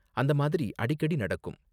அந்த மாதிரி அடிக்கடி நடக்கும்.